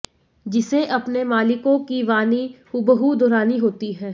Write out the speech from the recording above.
जिसे अपने मालिकों की वाणी हुबहू दोहरानी होती है